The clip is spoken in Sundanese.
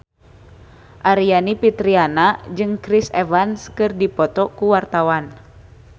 Aryani Fitriana jeung Chris Evans keur dipoto ku wartawan